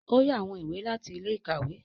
O yá awọn ìwé láti ilé-ìkawe.